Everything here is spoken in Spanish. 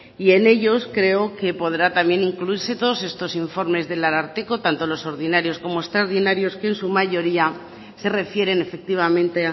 y en ellos creo que podrá también incluirse todos estos informes del ararteko tanto los ordinarios como extraordinarios que en su mayoría se refieren efectivamente